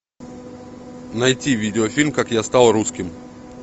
найти видеофильм как я стал русским